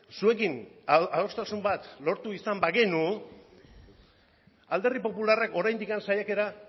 zuekin adostasun bat lortu izan bagenu alderdi popularrak oraindik saiakera